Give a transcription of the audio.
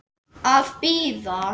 Að bíða.